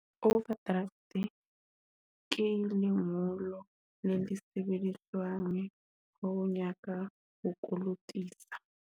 Overdraft ke lengolo le sebediswang ho nyaka ho kolotisa.